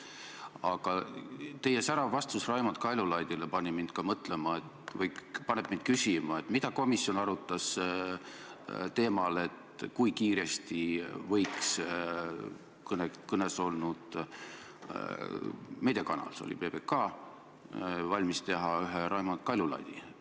Aga teie särav vastus Raimond Kaljulaidile paneb mind küsima, mida komisjon arutas teemal, kui kiiresti võiks kõne all olnud meediakanal valmis teha ühe Raimond Kaljulaidi.